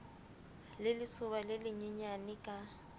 le lesoba le lenyenyane ka